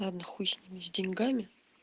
ладно хуй сними с деньгами